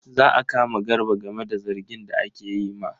Za a kama Garba game da zargin da ake yi ma.